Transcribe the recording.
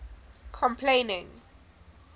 complaining